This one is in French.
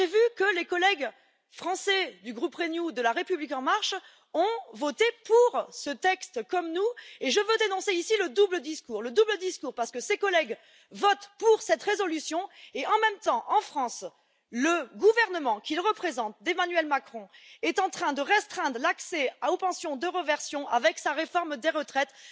J'ai vu que les collègues français du groupe Renew, de la République en marche, ont voté pour ce texte comme nous, et je veux dénoncer ici le double discours le double discours parce que ces collègues votent pour cette résolution et, en même temps, en France, le gouvernement qu'ils représentent, celui d'Emmanuel Macron, est en train de restreindre l'accès aux pensions de réversion avec sa réforme des retraites.